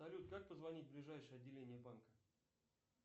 салют как позвонить в ближайшее отделение банка